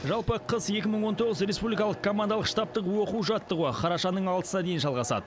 жалпы қыс екі мың он тоғыз республикалық командалық штабтық оқу жаттығуы қарашаның алтысына дейін жалғасады